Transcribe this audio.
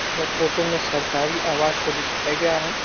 यह फोटो में सरकारी आवास को दिखाया गया है|